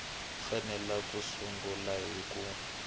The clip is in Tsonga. fanele ku sungula hi ku